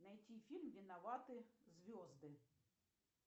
найти фильм виноваты звезды